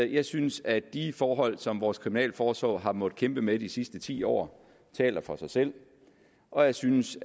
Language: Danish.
jeg synes at de forhold som vores kriminalforsorg har måttet kæmpe med i de sidste ti år taler for sig selv og jeg synes